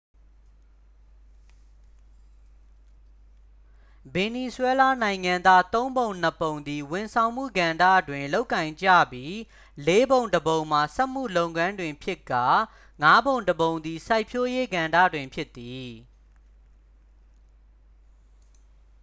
ဗင်နီဇွဲလားနိုင်ငံသား သုံးပုံနှစ်ပုံသည် ဝန်ဆောင်မှုကဏ္ဍတွင် လုပ်ကိုင်ကြပြီး လေးပုံတစ်ပုံမှာ စက်မှုလုပ်ငန်းတွင်ဖြစ်ကာ ငါးပုံတစ်ပုံသည် စိုက်ပျိုးရေးကဏ္ဍတွင် ဖြစ်သည်